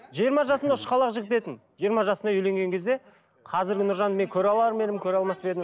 жиырма жасында ұшқалақ жігіт етін жиырма жасында үйленген кезде қазіргі нұржанды мен көре алар ма едім көре алмас па едім